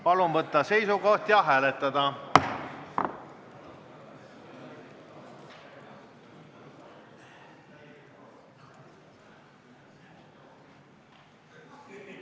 Palun võtta seisukoht ja hääletada!